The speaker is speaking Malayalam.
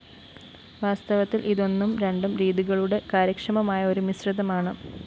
വാസ്തവത്തില്‍ ഇത് ഒന്നും രണ്ടും രീതികളുടെ കാര്യക്ഷമമായ ഒരു മിശ്രിതമാണ്